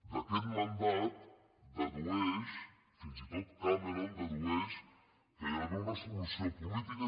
d’aquest mandat es dedueix fins i tot cameron dedueix que hi ha d’haver una solució política